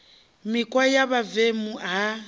mikhwa ya vhuvemu na i